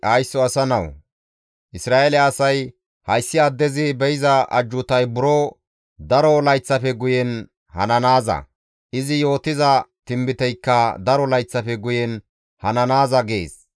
«Haysso asa nawu! Isra7eele asay, ‹Hayssi addezi be7iza ajjuutay buro daro layththafe guyen hananaaza; izi yootiza tinbiteykka daro layththafe guyen hananaaza› gees.